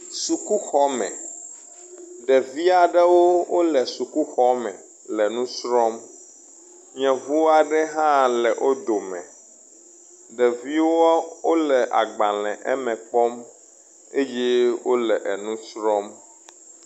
Sukuxɔ me, ɖevi aɖewo wole sukuxɔ me le nu srɔ̃m. Yevu aɖe hã le wo dome, ɖeviwo wole agbalẽwo eme kpɔm eye wole enu srɔ̃m.